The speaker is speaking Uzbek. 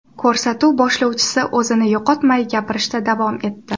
Ko‘rsatuv boshlovchisi o‘zini yo‘qotmay, gapirishda davom etdi .